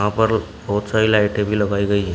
यहां पर बहुत सारी लाइटें भी लगाई गई है।